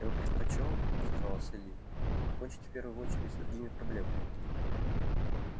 я бы предпочёл отозвался ли покончить в первую очередь с другими проблемами